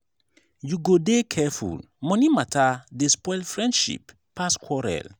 you go dey careful money mata dey spoil friendship pass quarrel.